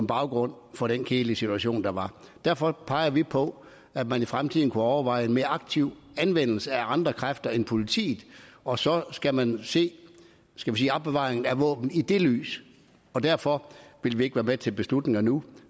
baggrund for den kedelige situation der var derfor peger vi på at man i fremtiden kunne overveje en mere aktiv anvendelse af andre kræfter end politiets og så skal man se skal vi sige opbevaring af våben i det lys derfor vil vi ikke være med til beslutninger nu